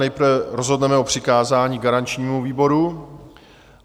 Nejprve rozhodneme o přikázání garančnímu výboru.